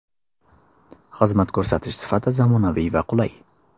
Xizmat ko‘rsatish sifati zamonaviy va qulay.